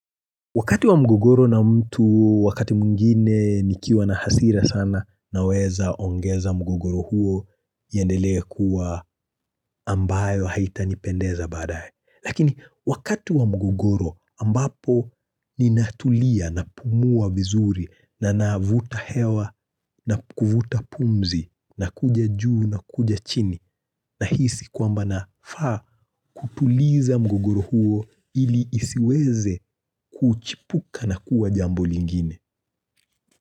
Wakati wa mgogoro na mtu wakati mwingine nikiwa na hasira sana naweza ongeza mgogoro huo iendelee kuwa ambayo haitanipendeza baadaye. Lakini wakati wa mgogoro ambapo ninatulia na kupumua vizuri na navuta hewa na kuvuta pumzi na kuja juu na kuja chini nahisi kwamba nafaa kutuliza mgogoro huo ili isiweze kuchipuka na kuwa jambo lingine.